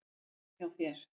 En hjá þér?